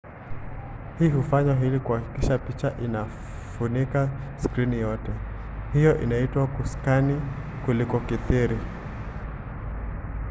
hii hufanywa ili kuhakikisha picha inafunika skrini yote. hiyo inaitwa kuskani kulikokithiri